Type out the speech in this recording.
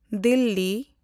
Delhi